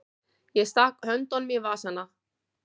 Ég stakk höndunum í vasana.